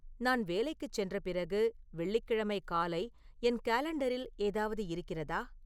நான் வேலைக்குச் சென்ற பிறகு வெள்ளிக்கிழமை காலை என் காலண்டரில் ஏதாவது இருக்கிறதா